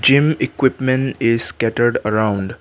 gym equipment is scattered around.